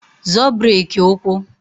Zọọ breki ụkwụ!